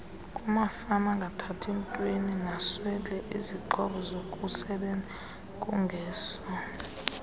kumafamaangathathi ntweninasweleizixhobozokusebenza kungeso